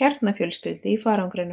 kjarnafjölskyldu í farangrinum.